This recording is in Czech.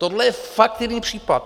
Tohle je fakt jiný případ.